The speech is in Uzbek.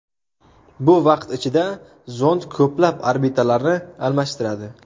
Bu vaqt ichida zond ko‘plab orbitalarni almashtiradi.